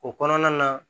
O kɔnɔna na